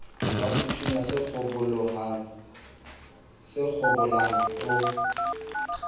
wa sethunya se kgabolang o